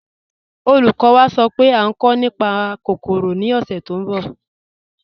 Olúkọ̀ní wá sọ́ pé à nkọ̀ nípá awọn kòkórò ni ọ̀ṣẹ̀ tó nbọ̀.